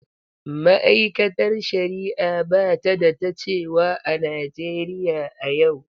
Ma’aikatar Shari’a ba ta da ta cewa a Najeriya a yau.